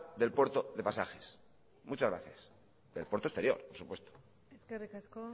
del puerto de pasajes del puerto exterior por supuesto muchas gracias eskerrik asko